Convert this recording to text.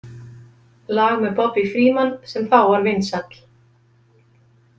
lag með Bobby Freeman sem þá var vinsæll.